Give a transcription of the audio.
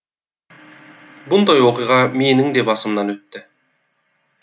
бұндай оқиға меніңде басымнан өтті